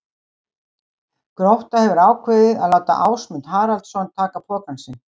Grótta hefur ákveðið að láta Ásmund Haraldsson taka pokann sinn.